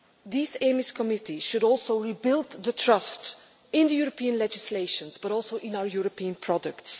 This EMIS committee should also rebuild the trust in the European legislation but also in our European products.